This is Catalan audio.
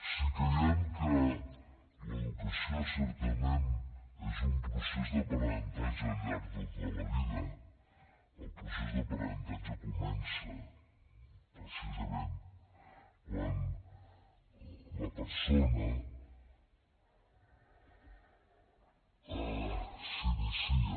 si creiem que l’educació certament és un procés d’aprenentatge al llarg de tota la vida el procés d’aprenentatge comença precisament quan la persona s’inicia